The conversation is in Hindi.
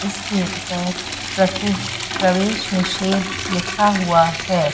इस गेट पर प्रवेश निषेध लिखा हुआ हैं।